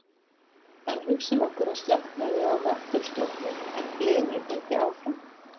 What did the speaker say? En hugsum okkur að slökknaði á möttulstróknum en gliðnun héldi áfram.